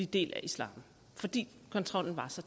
del af islam fordi kontrollen var så